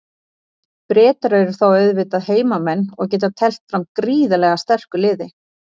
Bretar eru þá auðvitað heimamenn og geta teflt fram gríðarlega sterku liði.